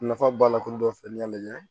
Nafa b'a la kulu dɔ filɛ ni y'a lajɛ